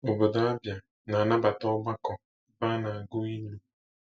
Obodo Abia na-anabata ọgbakọ ebe a na-agụ ilu.